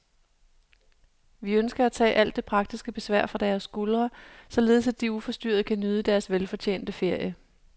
Vi ønsker at tage alt det praktiske besvær fra deres skuldre, således at de uforstyrret kan nyde deres velfortjente ferie.